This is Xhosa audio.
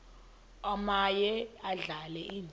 omaye adlale indawo